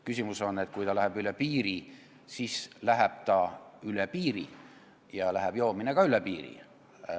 Küsimus on, et kui see ületab teatud piiri, siis hakatakse ostma piiri tagant ja maksuraha läheb ka piiri taha.